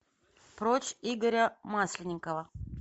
прочь игоря масленникова